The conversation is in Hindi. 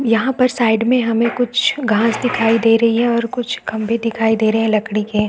यहाँ पर साइड में हमें कुछ घाँस दिखाई दे रही है और कुछ खम्भे दिखाई दे रही है लकड़ी के--